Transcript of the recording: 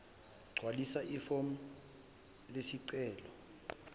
gcwalisa ifomu lesicelo